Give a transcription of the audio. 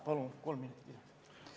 Palun kolm minutit juurde!